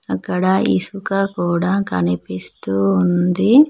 అక్కడ ఇసుక కూడా కనిపిస్తూ ఉంది.